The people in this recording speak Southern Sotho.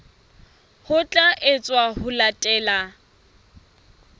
ho tla etswa ho latela